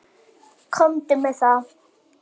Komdu með það!